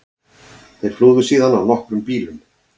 Þeir flúðu síðan á nokkrum bílum